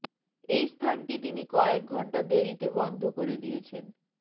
এই স্থানটি তিনি কয়েক ঘন্টা দেরিতে বন্ধ করে দিয়েছেন